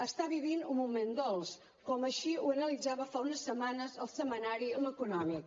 està vivint un moment dolç com així ho analitzava fa unes setmanes el setmanari l’econòmic